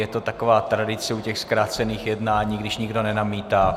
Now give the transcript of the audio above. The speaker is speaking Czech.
Je to taková tradice u těch zkrácených jednání, když nikdo nenamítá.